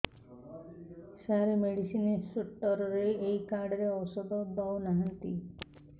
ସାର medicine store ରେ ଏଇ card ରେ ଔଷଧ ଦଉନାହାନ୍ତି